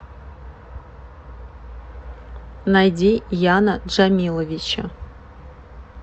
найди яна джамиловича